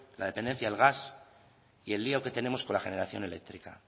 la dependencia al gas y el lio que tenemos con la generación eléctrica